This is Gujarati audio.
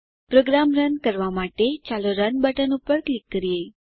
પ્રોગ્રામ રન કરવાં માટે ચાલો રન બટન પર ક્લિક કરીએ